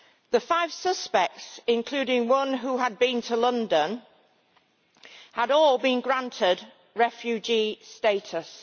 The five suspects, including one who had been to London, had all been granted refugee status.